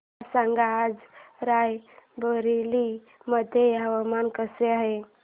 मला सांगा आज राय बरेली मध्ये हवामान कसे आहे